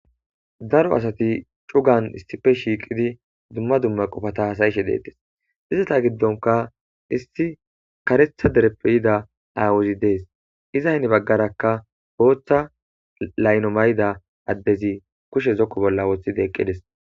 daro asati cugan issife shiiqidi dumma dumma qofata hasayishe deettes izata giddonka issi kare dereppe yida aawuzi dees iza heni baggarakka booththa laylo mayida addezi kushe zoko bolla wooththidi eqqides